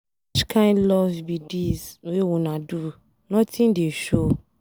Which kin love be dis wey una do, nothing dey show.